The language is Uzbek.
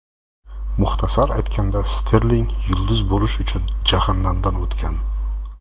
Muxtasar aytganda, Sterling yulduz bo‘lish uchun jahannamdan o‘tgan.